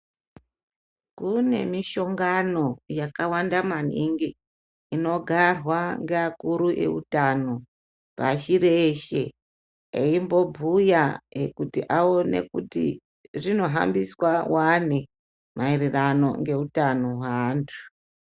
Kunemushongano yakawanda maningi inogarwa ngevakuru veutano pashi reshe embobhuya kuti aone kuti zvinohambiswa wani maererano ngeutano weandu.